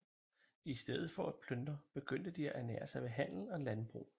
I stedet for at plyndre begyndte de at ernære sig ved handel og landbrug